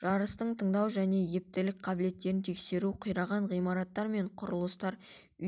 жарыстың тыңдау және ептілік қабілеттерін тексеру қираған ғимараттар мен құрылыстар